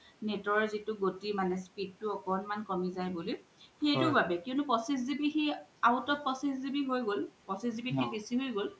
আপুনাৰ net ৰ জিতু গোতি মানে speed তু আকোন্মান কমি জাই বুলি সেইতু বাবে কিওনু পঁচিছ GB সেই out of পঁচিছ GB হয় গ'ল পঁচিছ GB কে বেচি হয় গ'ল